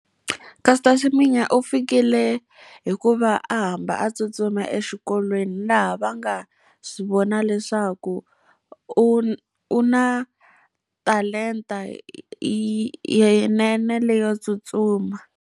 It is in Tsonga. Caster Semenya u fikile hi ku va a hamba a tsutsuma exikolweni, laha va nga swi vona leswaku u u na talenta leyinene leyi yo tsutsuma.